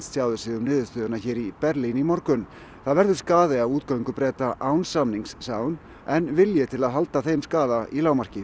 tjáði sig um niðurstöðuna hér í Berlín í morgun það verður skaði af útgöngu Breta án samnings sagði hún en vilji til að halda þeim skaða í lágmarki